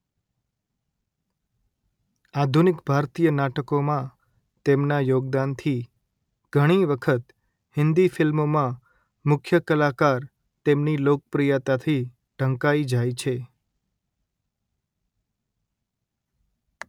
આધુનિક ભારતીય નાટકોમાં તેમના યોગદાનથી ઘણી વખત હિન્દી ફિલ્મોમાં મુખ્ય કલાકાર તેમની લોકપ્રિયતાથી ઢંકાઇ જાય છે